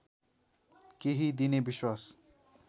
केही दिने विश्वास